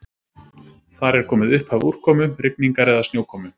Þar er komið upphaf úrkomu, rigningar eða snjókomu.